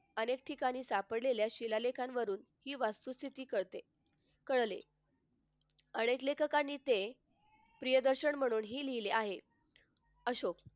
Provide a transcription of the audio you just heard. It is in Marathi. अनेक ठिकाणी सापडलेल्या शिलालेखांवरून ही वस्तुस्थिती कळते कळले. अनेक लेखकांनी ते प्रियदर्शन म्हणून लिहिले आहे अशोक